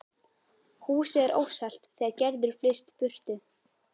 Húsið er óselt þegar Gerður flyst burtu